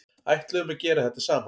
Ætluðum að gera þetta saman